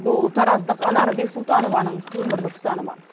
бұл тараздық анар бексұлтанованың өмірлік ұстанымы